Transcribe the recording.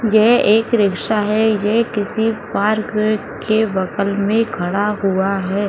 ये एक रिक्शा है। ये किसी पार्क के बगल में खड़ा हुआ है।